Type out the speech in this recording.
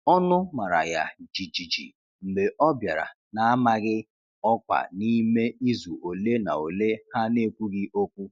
Ọnụ mara ya jijiji mgbe ọ bịara na-amaghị ọkwa n’ime izu ole na ole ha n'ekwughi okwu.